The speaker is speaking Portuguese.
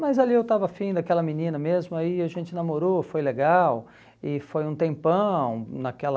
Mas ali eu estava afim daquela menina mesmo, aí a gente namorou, foi legal, e foi um tempão naquela...